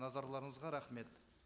назарларыңызға рахмет